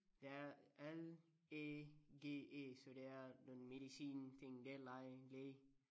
Det er L Æ G E så det er nogen medicinting det læge læge